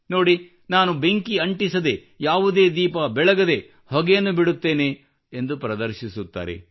ನೋಡಿ ನಾನು ಬೆಂಕಿ ಅಂಟಿಸದೇ ಯಾವುದೇ ದೀಪ ಬೆಳಗದೇ ಹೊಗೆಯನ್ನು ಬಿಡುತ್ತೇನೆ ಎಂದು ಪ್ರದರ್ಶಿಸುತ್ತಾರೆ